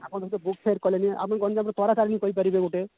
ଆପଣ ଦେଖନ୍ତୁ କହିପାରିବେ ଗୋଟେ